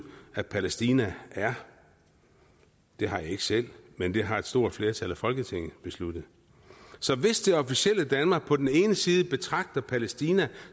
at palæstina er det har jeg ikke selv men det har et stort flertal i folketinget besluttet så hvis det officielle danmark på den ene side betragter palæstina